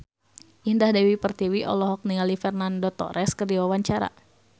Indah Dewi Pertiwi olohok ningali Fernando Torres keur diwawancara